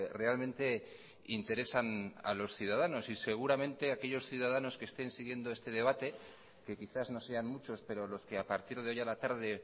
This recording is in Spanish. realmente interesan a los ciudadanos y seguramente aquellos ciudadanos que estén siguiendo este debate que quizás no sean muchos pero los que a partir de hoy a la tarde